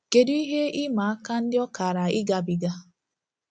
Kedu ihe ịma aka ndị ọ kaara ịgabiga?